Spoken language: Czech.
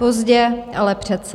Pozdě, ale přece.